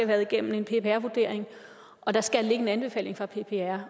været igennem en ppr vurdering og der skal ligge en anbefaling fra ppr